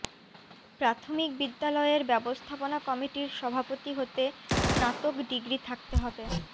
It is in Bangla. প্রাথমিক বিদ্যালয়ের ব্যবস্থাপনা কমিটির সভাপতি হতে স্নাতক ডিগ্রি থাকতে হবে